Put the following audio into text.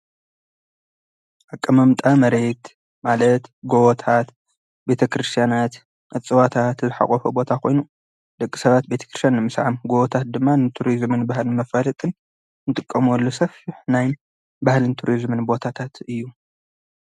ኣቀማምጣ መሬት ማለት ጐቦታት፣ ቤተ ክርስቲያናት እጽዋታት ልሓቖፈ ቦታ ኾይኑ ደቂ ሰባት ቤተ ክርስትያን ንምስዓም ጐቦታት ድማ ንቱርዝምን ባህልን መፋልጥን ንጥቅመሎምን ሰፊሕ ናይ ባህልን ቱሪዝምን ቦታታት እዩ፡፡